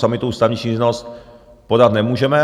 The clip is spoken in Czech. Sami tu ústavní stížnost podat nemůžeme.